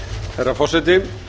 herra forseti